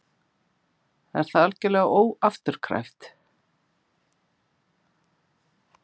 Er það algjörlega óafturkræft?